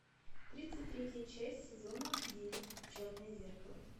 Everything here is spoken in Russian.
тридцать третья часть сезона девять черное зеркало